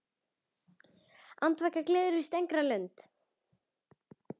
Andvaka gleður víst engra lund.